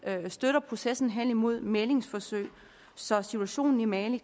støtter processen hen imod et mæglingsforsøg så situationen i mali